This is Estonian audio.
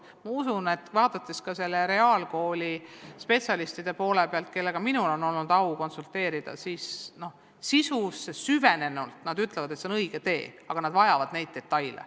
Ma usun, et ka reaalkooli spetsialistid, kellega minul on au olnud konsulteerida, sisusse süvenenult ütlevad, et see on õige tee, aga et nad vajavad neid detaile.